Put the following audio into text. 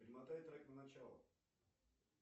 перемотай трек на начало